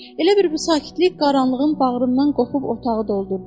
Elə bil bu sakitlik qaranlığın bağrından qopup otağı doldurdu.